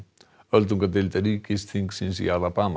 öldungadeild ríkisþingsins í